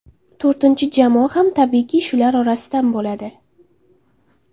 To‘rtinchi jamoa ham tabiiyki, shular orasidan bo‘ladi.